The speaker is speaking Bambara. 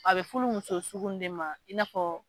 A bɛ fulu muso sugu nunnu de ma i n'a fɔ.